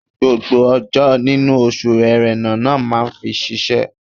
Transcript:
Gbogbo ọjọ́ nínú oṣù Ẹ̀rẹnà la máa fi ṣiṣẹ́.